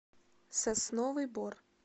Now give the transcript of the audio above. сосновый бор